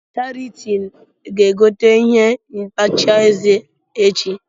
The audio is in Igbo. Charity ga egote ihe ntacha eze echi.